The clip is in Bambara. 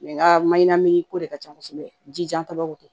nka maɲan ni ko de ka ca kosɛbɛ jijatababu